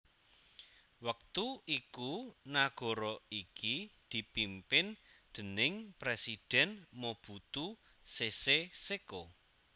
Wektu iku nagara iki dipimpin déning Presidhèn Mobutu Sese Seko